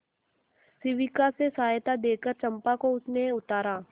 शिविका से सहायता देकर चंपा को उसने उतारा